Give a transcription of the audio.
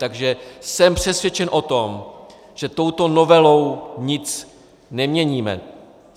Takže jsem přesvědčen o tom, že touto novelou nic neměníme.